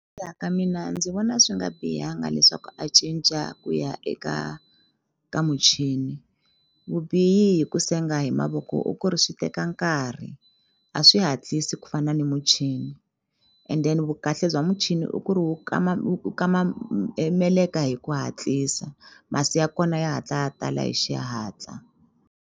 ka mina ndzi vona swi nga bihanga leswaku a cinca ku ya eka ka muchini vubihi hi ku senga hi mavoko i ku ri swi teka nkarhi a swi hatlisi ku fana ni muchini and then vukahle bya muchini i ku ri wu kama wu kama e meleka hi ku hatlisa masi ya kona ya hatla ya tala hi xihatla.